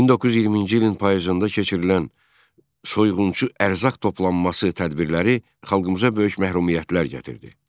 1920-ci ilin payızında keçirilən soyğunçu ərzaq toplanması tədbirləri xalqımıza böyük məhrumiyyətlər gətirdi.